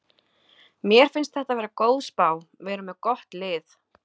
Mér finnst þetta vera góð spá, við erum með gott lið.